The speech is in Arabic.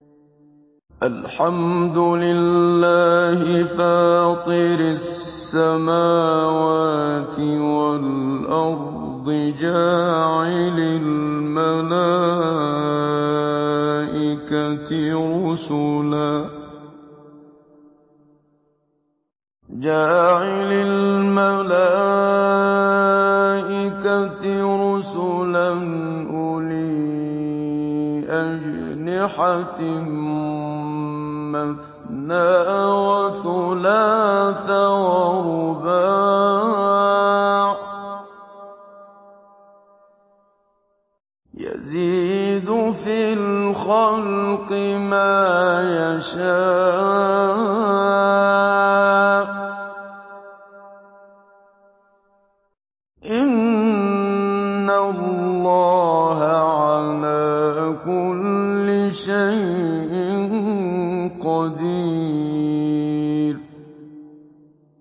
الْحَمْدُ لِلَّهِ فَاطِرِ السَّمَاوَاتِ وَالْأَرْضِ جَاعِلِ الْمَلَائِكَةِ رُسُلًا أُولِي أَجْنِحَةٍ مَّثْنَىٰ وَثُلَاثَ وَرُبَاعَ ۚ يَزِيدُ فِي الْخَلْقِ مَا يَشَاءُ ۚ إِنَّ اللَّهَ عَلَىٰ كُلِّ شَيْءٍ قَدِيرٌ